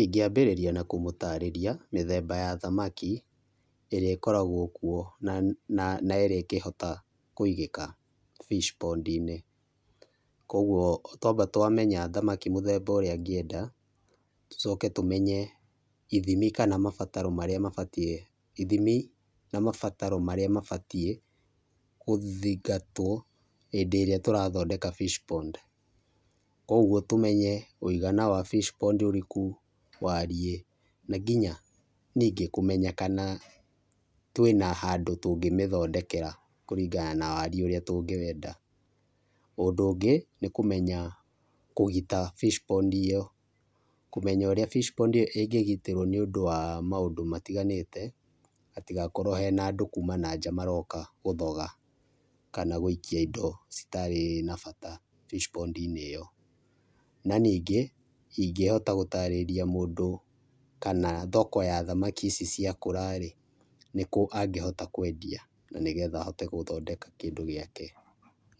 Ingĩa ambĩrĩria na kũmũtarĩria mĩthemba ya thamaki ĩrĩa ĩkoragwo kũo na ĩrĩa ĩngĩhota kũĩgĩka fish pond inĩ. Kũogũo twamba twamenya mũthemba wa thamaki ĩrĩa angĩenda, tũcoke tũmenye ithimi kana mabataro marĩa mabatiĩ ĩthimi na mabataro marĩa mabatiĩ gũthingatwo hĩndĩ ĩrĩa tũrathondeka fish pond, kwoguo tũmenye mũĩgana wa fish pond ũrĩkũ , wariĩ nginya nĩngĩ kũmenya kana twĩna handũ tũngĩmĩthondekera kũringana na wariĩ ũrĩa tũrenda. Ũndũ ũngĩ nĩkũmenya kũgĩta fish pond ĩyo, kũmenya ũrĩa fish pond ĩyo ĩngĩgĩtĩrwo nĩ ũndũ wa maũndũ matĩganĩte hatĩgakorwo hena andũ kuma na nja maroka gũthoga kana gũikĩa indo itarĩ na bata fish pond ĩyo. Nanĩngĩ ingĩhoĩta gũtarĩria ũndũ kana thoko ya thamakĩ ici cia kũra rĩ nĩkũ angĩhota kwendia na nĩgetha ahote gũthondeka kĩndũ gĩake,